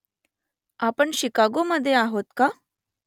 आपण शिकागोमध्ये आहोत का ?